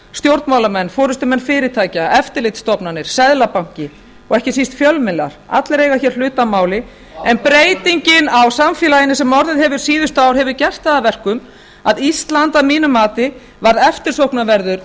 stjórnmálamenn forustumenn fyrirtækja eftirlitsstofnanir seðlabanki og ekki síst fjölmiðlar allir eiga hér hlut að máli en breytingin á samfélaginu sem orðið hefur síðustu ár hefur gert það að verkum að ísland að mínu mati varð eftirsóknarverður